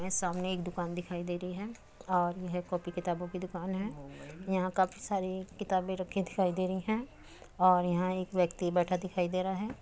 ये सामने एक दुकान दिखाई दे रही है और यह कॉपी किताबो की दुकान है यहाँ काफी सारी किताबे रखी दिखाई दे रही है और यहाँ एक बैठा व्यक्ति दिखाई दे रहा है।